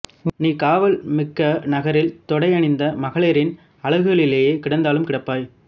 நீ காவல் மிக்க நகரில் தொடியணிந்த மகளிரின் அலகுலிலே கிடந்தாலும் கிடப்பாய்